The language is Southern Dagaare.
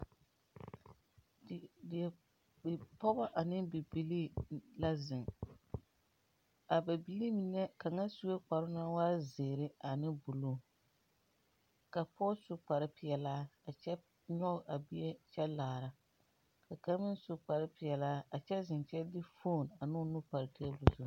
Di... dieo... bipɔgɔ ane bibilii la zeŋ, a ba biiri menɛ kaŋa sue kparoŋ naŋ waa zeere ane buluu. Ka pɔɔ su kpar...peɛlaa a kyɛ nyɔge a bie kyɛ laara. Ka kaŋ meŋ su kparpeɛlaa a kyɛ zeŋ kyɛ de foon a n'o nu par teebul zu.